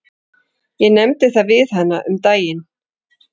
Ég nefndi það við hana um daginn.